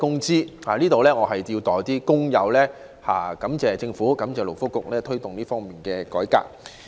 就此，我要代表工友感謝政府及勞工及福利局推動這項改革。